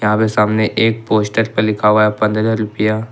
आगे सामने एक पोस्टर पर लिखा हुआ है पंद्रह रुपया।